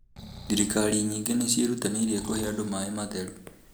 Thirikari nyingĩ nĩ cirerutanĩria kũhe andũ maĩ matheru.